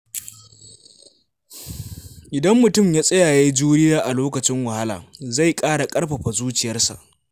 Idan mutum ya tsaya ya yi juriya a lokacin wahala, zai ƙara ƙarfafa zuciyarsa.